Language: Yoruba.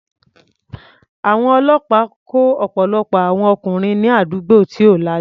Àwọn ọlọ́pàá kó ọ̀pọ̀lọpọ̀ àwọn ọkùnrin ní àdúgbò tí ò lajú.